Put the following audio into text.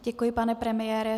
Děkuji, pane premiére.